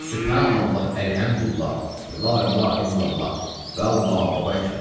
Sübhanallah, əlhəmdülillah və la ilahə illallah və Allahu Əkbər.